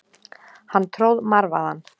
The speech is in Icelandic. Hann tróð marvaðann.